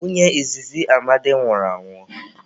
Nwunye izizi Amadi nwụrụ anwụ.